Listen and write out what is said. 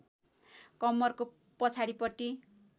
कम्मरको पछाडिपट्टि